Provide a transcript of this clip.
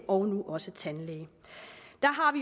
og nu også tandlæge